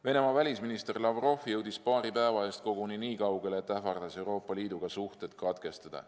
Venemaa välisminister Sergei Lavrov jõudis paari päeva eest koguni nii kaugele, et ähvardas Euroopa Liiduga suhted katkestada.